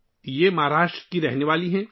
وہ مہاراشٹر کی رہنے والی ہیں